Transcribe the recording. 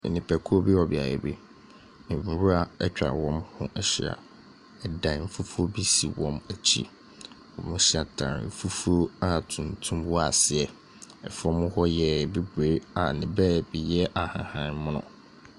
Nnipakuo bi wɔ beaeɛ bi. Nwura atwa wɔn ho ahyia. Dan fufuo bi si wɔn akyi. Wɔhyɛ ataareɛ fufuo a tuntum wɔ aseɛ. Ɛfam hɔ yɛ bebree a ne baabi yɛ ahahan mono.